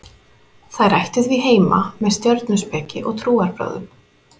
þær ættu því heima með stjörnuspeki og trúarbrögðum